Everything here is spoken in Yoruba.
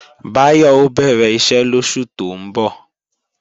Báyọ̀ ó bẹ̀rẹ̀ iṣẹ́ lóṣù tó ń bọ̀